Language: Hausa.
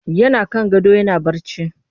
Yana kan gado yana barci